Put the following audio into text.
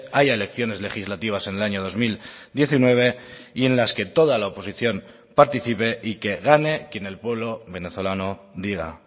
haya elecciones legislativas en el año dos mil diecinueve y en las que toda la oposición participe y que gane quien el pueblo venezolano diga